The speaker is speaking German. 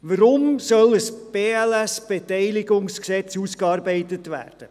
Weshalb soll ein BLS-Beteiligungsgesetz ausgearbeitet werden?